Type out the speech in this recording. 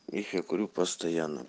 их я курю постоянно